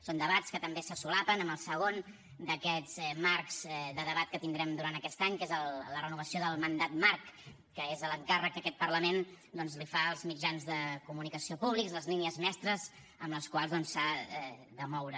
són debats que també se solapen amb el segon d’aquests marcs de debat que tindrem durant aquest any que és la renovació del mandat marc que és l’encàrrec que aquest parlament doncs els fa als mitjans de comunicació públics les línies mestres amb les quals doncs s’ha de moure